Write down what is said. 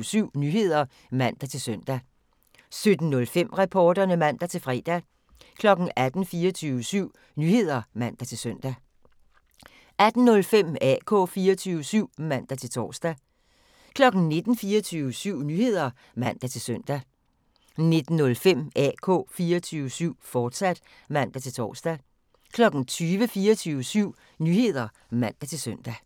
17:00: 24syv Nyheder (man-søn) 17:05: Reporterne (man-fre) 18:00: 24syv Nyheder (man-søn) 18:05: AK 24syv (man-tor) 19:00: 24syv Nyheder (man-søn) 19:05: AK 24syv, fortsat (man-tor) 20:00: 24syv Nyheder (man-søn)